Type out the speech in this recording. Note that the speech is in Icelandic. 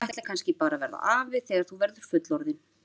Þú ætlar kannski bara að verða afi þegar þú verður fullorðinn?